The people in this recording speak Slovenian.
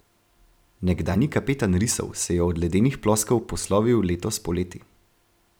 Nekdanji kapetan risov se je od ledenih ploskev poslovil letos poleti.